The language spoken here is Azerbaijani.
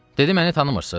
Dedi məni tanımırız?